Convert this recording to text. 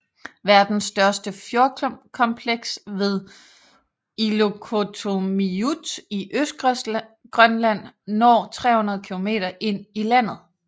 Verdens største fjordkompleks ved Illoqqortoormiut i Østgrønland når 300 km ind i landet